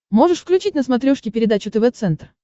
можешь включить на смотрешке передачу тв центр